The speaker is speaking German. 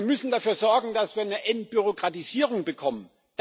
Wir müssen dafür sorgen, dass wir eine Entbürokratisierung bekommen.